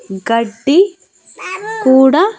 గడ్డి కూడా--